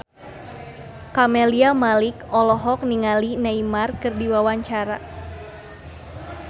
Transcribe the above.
Camelia Malik olohok ningali Neymar keur diwawancara